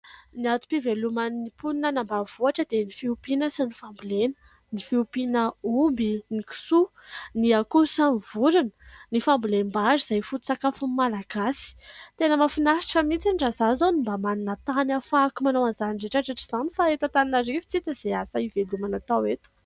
Ny antom-piveloman'ny mponina any ambanivohitra dia ny fiompiana sy ny fambolena. Ny fiompiana omby, ny kisoa, ny akoho sy ny vorona ; ny fambolem-bary izay foto-tsakafon'ny Malagasy. Tena mahafinaritra mihitsy raha izaho izao no mba manana tany ahafahako manao an'izany rehetra rehetra izany fa eto Antananarivo tsy hita izay asa hivelomana atao eto.